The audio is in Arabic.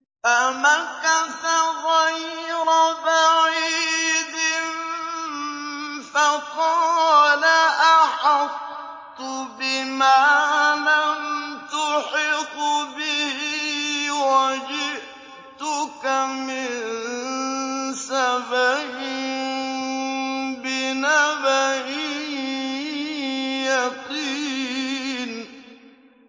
فَمَكَثَ غَيْرَ بَعِيدٍ فَقَالَ أَحَطتُ بِمَا لَمْ تُحِطْ بِهِ وَجِئْتُكَ مِن سَبَإٍ بِنَبَإٍ يَقِينٍ